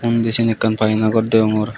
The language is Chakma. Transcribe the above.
indi siyen ekkan painagor deongor.